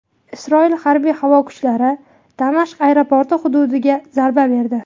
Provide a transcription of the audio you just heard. Isroil harbiy-havo kuchalari Damashq aeroporti hududiga zarba berdi.